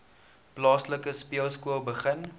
plaaslike speelskool begin